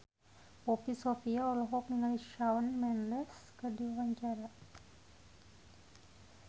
Poppy Sovia olohok ningali Shawn Mendes keur diwawancara